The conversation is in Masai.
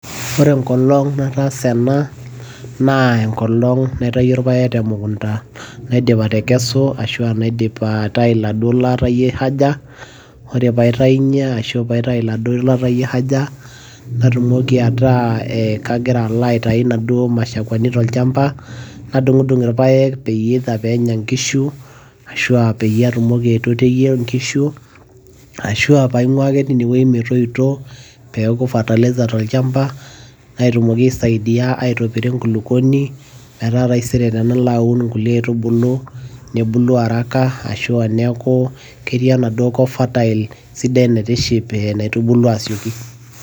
ore enkolong' nataasa ena naa enkolong' naitayio irpaek te mukunta. naidip atakesu, ashu aa naidip aitayu iladuoo laatayie haja, ore pee atayunye ashu pe aitayu iladuoo laatayie haja, natumoki ataa, kagira alo aitayu imushkwani tolchampa. nadung'idung' irpaek, eitherv pee enya nkishu, ashu aa peyie atumoki aitotiyie nkishu, ashu aa pee aing'uaa ake teine wueji metoito ashu aa peeku fertilizer tolchampa, natumoki aisaidia aitopiro enkulupuoni, metaa taisere tenalo aun inkaitubulu, nebulu araka ashu aa neeku keyia enaduo kop fertile ashu aa naitubulu asioki.